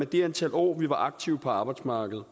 det antal år vi var aktive på arbejdsmarkedet